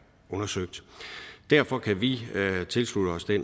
undersøgt derfor kan vi tilslutte os det